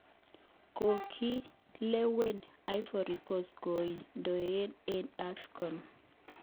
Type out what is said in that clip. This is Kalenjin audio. Kokilewen Ivory Cost koiknedoe eng Afcon